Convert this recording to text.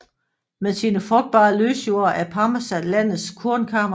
Med sine frugtbare løsjorder er Pampas landets kornkammer